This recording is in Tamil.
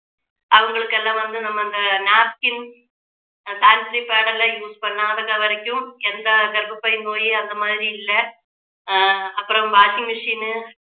அவங்களுக்கு எல்லாம் வந்து நம்ம இந்த napkin sanitary pad எல்லாம் use பண்ணாத வரைக்கும் எந்த கர்ப்பப்பை நோய் அந்த மாதிரி இல்ல ஆஹ் அப்புறம் washing machine